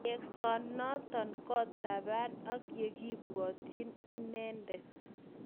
Yengsonoton ko taban ak yekipwotyin imendet